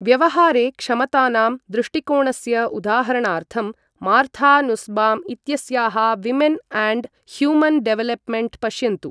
व्यवहारे क्षमतानां दृष्टिकोणस्य उदाहरणार्थं, मार्था नुस्बाम् इत्यस्याः विमेन् अण्ड् ह्यूमन् डेवेलप्मेण्ट् पश्यन्तु।